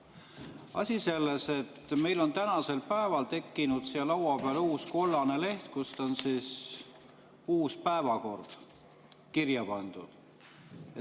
Asi selles, et meil on tänasel päeval tekkinud laua peale uus kollane leht, kuhu on uus päevakord kirja pandud.